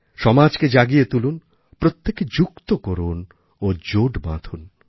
সমাজকে জাগিয়ে তুলুন প্রত্যেককে যুক্ত করুন ও জোট বাঁধুন